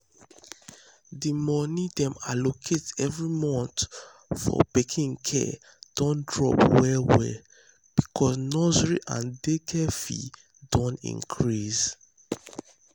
the money dem allocate every month for pikin care don drop well um well because um nursery and daycare fees don increase.